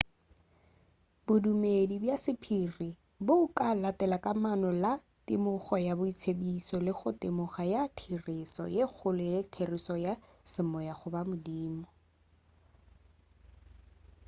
bodumedi bja sephiri bo ka latela kamano le temogo ya boitsebišo le goba temogo ya therešo ye kgolo le therešo ya semoya goba modimo